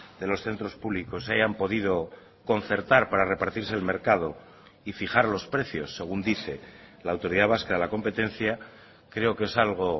de los centros públicos se hayan podido concertar para repartirse el mercado y fijar los precios según dice la autoridad vasca de la competencia creo que es algo